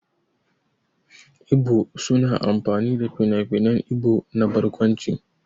Ibo za su amfani da finafinan Ibo na barkwanci.